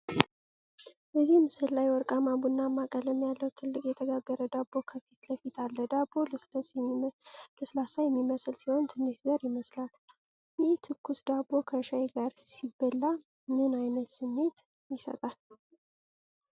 እዚህ ምስል ላይ ወርቃማ ቡናማ ቀለም ያለው ትልቅ የተጋገረ ዳቦ ከፊት ለፊት አለ። ዳቦው ለስላሳ የሚመስል ሲሆን ትንሽ ዘር ይመስላል። ይህ ትኩስ ዳቦ ከሻይ ጋር ሲበላ ምን አይነት ስሜት ይሰጣል?